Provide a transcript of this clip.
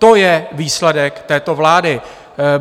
To je výsledek této vlády.